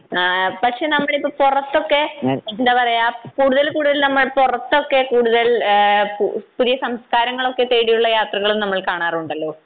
ആഹ് പക്ഷേ നമ്മളിപ്പോൾ പുറത്തൊക്കെ എന്താ പറയാ കൂടുതൽ കൂടുതൽ നമ്മൾ പുറത്തൊക്കെ കൂടുതൽ ഏഹ് പു പുതിയ സംസ്കാരങ്ങളൊക്കെ തേടിയുള്ള യാത്രകളും നമ്മൾ കാണാറുണ്ടല്ലോ?